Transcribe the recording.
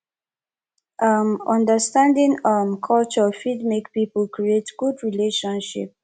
um understanding um culture fit make pipo create good relationship